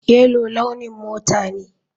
Yellow launin mata ne.